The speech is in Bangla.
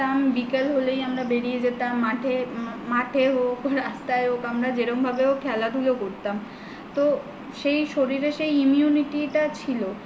বিকাল হলেই আমরা বেরিয়ে যেতাম মাঠে হোক রাস্তায় হোক আমরা যেরম ভাবে হোক খেলা ধুলা করতাম তো সেই শরীরে সেই immunity টা ছিল